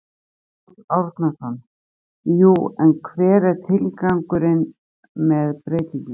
Árni Páll Árnason: Jú en hver er tilgangurinn með breytingunni?